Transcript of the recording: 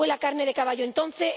Fue la carne de caballo, entonces